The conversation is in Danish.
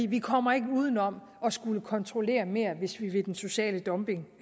vi kommer ikke uden om at skulle kontrollere mere hvis vi vil den sociale dumping